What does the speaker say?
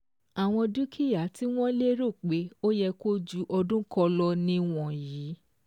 Àwọn dúkìá tí wọ́n lérò pé ó yẹ kí o ju ọdún kán lọ nì wọ̀nyí